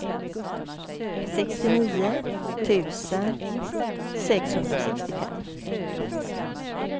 sextionio tusen sexhundrasextiofem